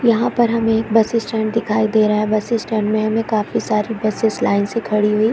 यहाँ पर हमें एक बस स्टैंड दिखाई दे रहा है बस स्टैंड में हमें काफी सारे बसेस लाइन से खड़ी हुई--